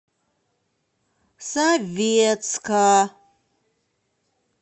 советска